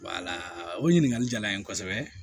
o ɲininkali jala n ye kosɛbɛ